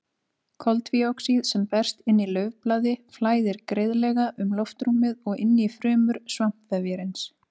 Koltvíoxíð sem berst inn í laufblaði flæðir greiðlega um loftrúmið og inn í frumur svampvefjarins.